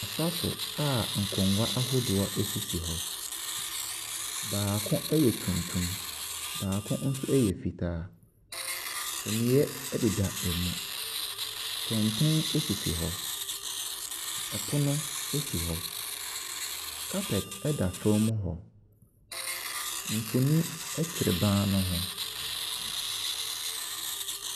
Asaso a nkonnwa ahodoɔ asisi hɔ, baako ɛyɛ tuntum, baako nso ɛyɛ fitaa. Suneɛ ɛdeda ɛmu, kɛntɛn asisi hɔ. Pono asi hɔ, carpet ɛda fam hɔ, mfonini nso ɛtwere ban ne ho.